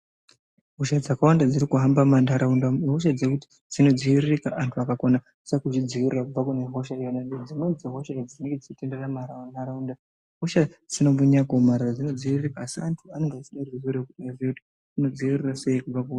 Hosha dzakawanda dziri kuhamba mumantaraunda ihosha dzekuti dzinodziiririka anyu akakona se kudzidziirira kubva kune hosha iyona ngekuti dzimweni dzehosha idzi dzinenge dzichitenderera mumara mumantaraunda hosha sina kumbonyanya kuomarara dzinodziviririka asi antu anenge achide kuti zvinovhetwa unodziirira sei kubva.